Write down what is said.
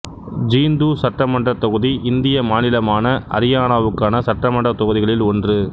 ஜீந்து சட்டமன்றத் தொகுதி இந்திய மாநிலமான அரியானாவுக்கான சட்டமன்றத் தொகுதிகளில் ஒன்று